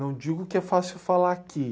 Não digo que é fácil falar aqui.